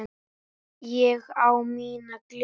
Ég á mína gleði sjálf.